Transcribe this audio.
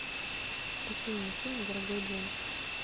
включи мне фильм дорогой джон